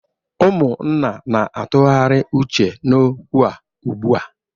Ummuna na-atụgharị uche n'okwu a ugbu a